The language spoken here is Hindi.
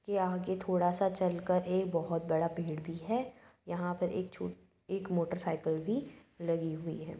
ये आगे थोड़ा सा चल कर एक बोहत बड़ा पेड़ भी है। यहाँ पर एक छो एक मोटरसाइकिल भी लगी हुई है।